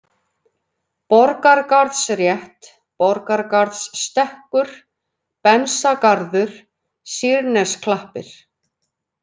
Borgargarðsrétt, Borgargarðsstekkur, Bensagarður, Sýrnesklappir